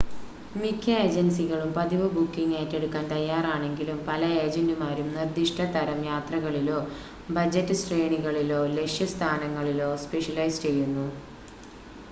മിക്ക ഏജൻസികളും പതിവ് ബുക്കിംഗ് ഏറ്റെടുക്കാൻ തയ്യാറാണെങ്കിലും പല ഏജൻ്റുമാരും നിർദിഷ്‌ട തരം യാത്രകളിലോ ബജറ്റ് ശ്രേണികളിലോ ലക്ഷ്യസ്ഥാനങ്ങളിലോ സ്‌പെഷ്യലൈസ് ചെയ്യുന്നു